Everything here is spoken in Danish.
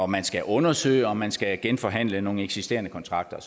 man skal undersøge og man skal genforhandle nogle eksisterende kontrakter og